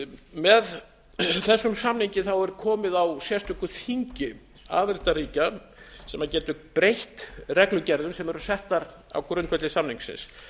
með þessum samningi er komið á sérstöku þingi aðildarríkja sem getur breytt reglugerðum sem eru settar á grundvelli samningsins